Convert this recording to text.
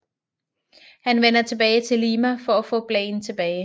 Han vender tilbage til Lima for at få Blaine tilbage